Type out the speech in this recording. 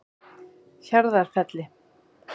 Hjarðarfelli